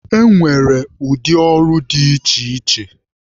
E nwere ụdị ọrụ dị iche iche.